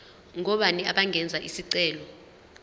ngobani abangenza isicelo